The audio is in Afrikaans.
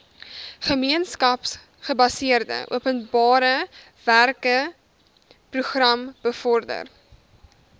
gemeenskapsgebaseerde openbarewerkeprogram bevorder